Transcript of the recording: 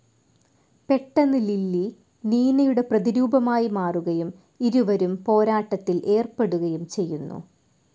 പെട്ടെന്ന് ലിലി നീനയുടെ പ്രതിരൂപമായി മാറുകയും ഇരുവരും പോരാട്ടത്തിൽ ഏർപ്പെടുകയും ചെയ്യുന്നു.